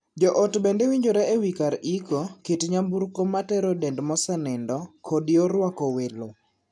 Joot bende winjore e wii kar iko, kit nyamburko matero dend mosenindo, kod yor ruako welo.